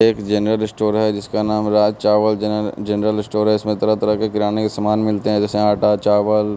एक general store है जिसका नाम राज चावल जनरल स्टोर है। इसमें तरह तरह के किराने के सामान मिलते हैं जैसे आटा चावल--